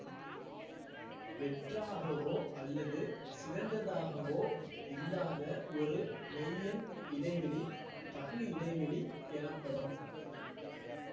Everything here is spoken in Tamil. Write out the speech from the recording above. வெற்றாகவோ அல்லது சிதைந்ததாகவோ இல்லாத ஒரு மெய்யெண் இடைவெளி தகு இடைவெளி எனப்படும்